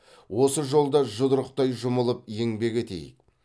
осы жолда жұдырықтай жұмылып еңбек етейік